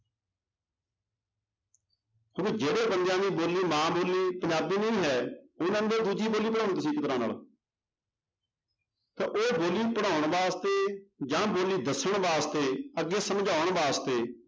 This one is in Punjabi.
ਕਿਉਂਕਿ ਜਿਹੜੇ ਬੰਦਿਆਂ ਦੀ ਬੋਲੀ ਮਾਂ ਬੋਲੀ ਪੰਜਾਬੀ ਨਹੀਂ ਹੈ ਦੂਜੀ ਬੋਲੀ ਪੜ੍ਹਾਓ ਤੁਸੀਂ ਤਰ੍ਹਾਂ ਨਾਲ ਤਾਂ ਉਹ ਬੋਲੀ ਪੜ੍ਹਾਉਣ ਵਾਸਤੇ ਜਾਂ ਬੋਲੀ ਦੱਸਣ ਵਾਸਤੇ ਅੱਗੇ ਸਮਝਾਉਣ ਵਾਸਤੇ